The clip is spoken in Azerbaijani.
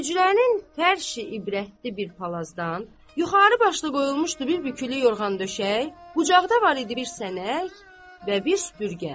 Hücrənin hər şeyi ibrətamiz bir palazdan, yuxarı başda qoyulmuşdu bir bükülü yorğan döşək, qucaqda var idi bir sənək və bir süpürgə.